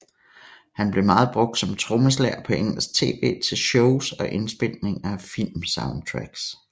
Han blev meget brugt som trommeslager på engelsk tv til shows og indspilninger af filmsoundtracks